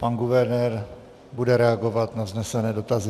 Pan guvernér bude reagovat na vznesené dotazy.